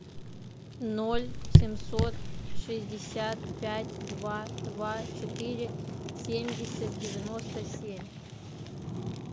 ноль семьсот шестьдесят пять два два четыре семьдесят девяносто семь